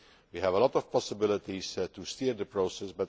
We have a lot of possibilities to steer the process